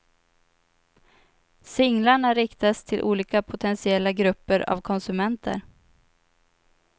Singlarna riktas till olika potentiella grupper av konsumenter.